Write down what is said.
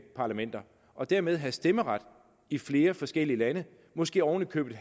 parlamenter og dermed have stemmeret i flere forskellige lande måske oven i købet